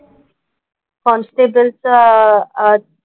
कॉन्स्टेबलचं अह